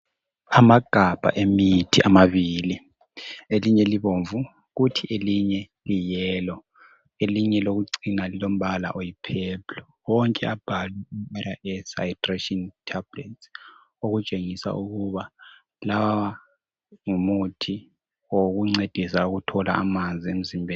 Amagabha emithi amabili elinye libomvu kuthi elinye liyi yellow elinye elokucina lilombala oyi purple. Wonke abhalwe hydration tablets okutshengisa ukuba ngumuthi wokuncedisa ukuthola amanzi emzimbeni.